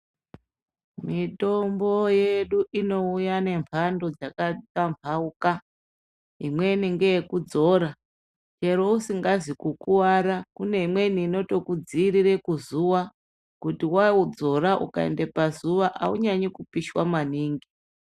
Mitombo yedu inouya nemhando dzakatamhauka imweni ngeyekudzora chero usingazi kukuvara kune imweni inotokudziirire kuzukuva kuti waudzora ukaende pazuva haunyanye kupishwa manhingi